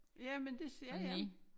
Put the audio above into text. Jamen det ja ja